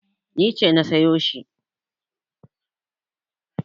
Ni ce na sayo shi.